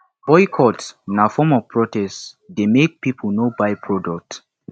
boycott na form of protest dey make people no buy product